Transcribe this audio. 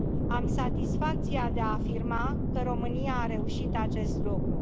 Am satisfacția de a afirma că România a reușit acest lucru.